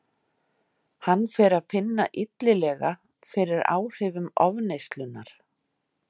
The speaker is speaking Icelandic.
Hann fer að finna illilega fyrir áhrifum ofneyslunnar.